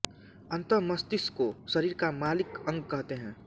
अतः मस्तिष्क को शरीर का मालिक अंग कहते हैं